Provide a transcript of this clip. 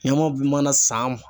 Ɲamaw mana san